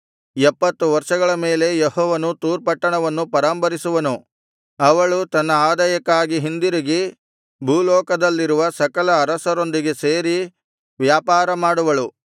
ಎಪ್ಪತ್ತು ವರ್ಷಗಳ ಮೇಲೆ ಯೆಹೋವನು ತೂರ್ ಪಟ್ಟಣವನ್ನು ಪರಾಂಬರಿಸುವನು ಅವಳು ತನ್ನ ಆದಾಯಕ್ಕಾಗಿ ಹಿಂದಿರುಗಿ ಭೂಲೋಕದಲ್ಲಿರುವ ಸಕಲ ಅರಸರೊಂದಿಗೆ ಸೇರಿ ವ್ಯಾಪಾರ ಮಾಡುವಳು